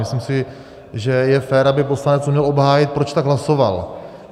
Myslím si, že je fér, aby poslanec uměl obhájit, proč tak hlasoval.